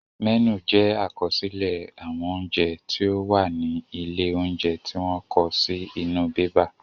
Mẹ́nù jẹ àkọsílẹ̀ àwọn oúnjẹ tí ó wà ní ilé óúnjẹ tí wọ́n kọ sí inú bébà